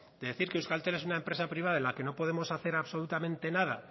de decir que euskaltel es una empresa privada en la que no podemos hacer absolutamente nada